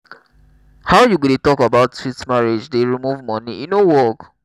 how you go dey talk about sweet marriage dey remove money e no work.